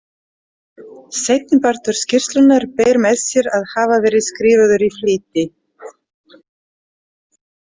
Seinnipartur skýrslunnar ber með sér að hafa verið skrifaður í flýti.